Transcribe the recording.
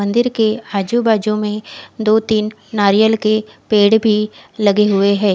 मंदिर के आजू बाजू में दो तिन नारियल के पेड़ भी लगे हुए है।